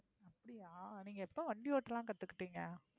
அப்படியா நீங்க எப்போ வண்டி ஓட்டலாம் கத்துகிட்டீங்க?